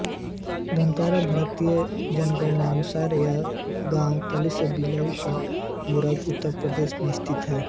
धतरारा भारतीय जनगणना अनुसार यह गाँव तहसील बिलारी जिला मुरादाबाद उत्तर प्रदेश में स्थित है